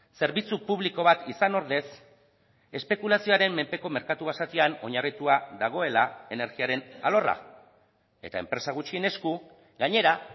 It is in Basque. zerbitzu publiko bat izan ordez espekulazioaren menpeko merkatu basatian oinarritua dagoela energiaren alorra eta enpresa gutxien esku gainera